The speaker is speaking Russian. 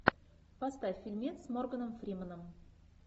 поставь фильмец с морганом фрименом